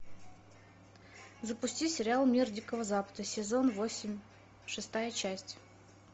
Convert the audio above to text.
запусти сериал мир дикого запада сезон восемь шестая часть